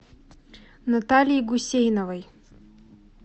натальи гусейновой